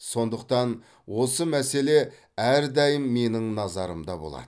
сондықтан осы мәселе әрдайым менің назарымда болады